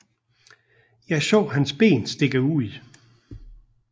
Jeg så hans ben stikke ud